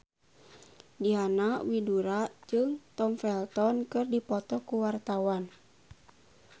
Diana Widoera jeung Tom Felton keur dipoto ku wartawan